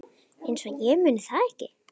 Einsog ég muni það ekki!